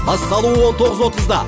басталуы он тоғыз отызда